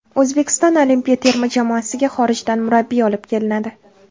O‘zbekiston olimpiya terma jamoasiga xorijdan murabbiy olib kelinadi.